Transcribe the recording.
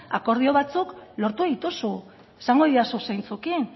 akordio batzuk lortu dituzu esango didazu zeintzuekin